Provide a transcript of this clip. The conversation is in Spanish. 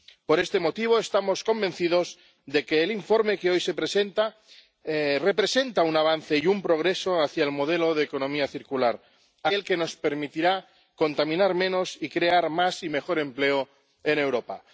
Por este motivo, estamos convencidos de que el informe que hoy se presenta representa un avance y un progreso hacia el modelo de economía circular, aquel que nos permitirá contaminar menos y crear más y mejor empleo en Europa.